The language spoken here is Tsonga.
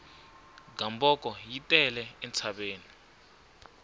gamboko yi tele entshaveni